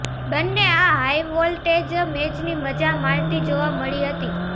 બંને આ હાઈવોલ્ટેજ મેચની મજા માણતી જોવા મળી હતી